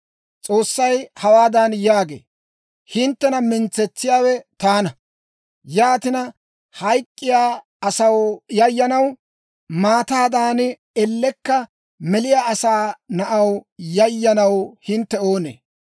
S'oossay hawaadan yaagee; «Hinttena mintsetsiyaawe taana. Yaatina, hayk'k'iyaa asaw yayyanaw, maataadan ellekka meliyaa asaa na'aw yayyanaw hintte oonee?